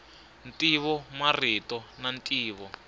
ntivo marito na ntivo